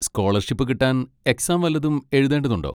Scholarship കിട്ടാൻ exam വല്ലതും എഴുതേണ്ടതുണ്ടോ?